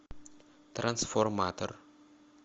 трансформатор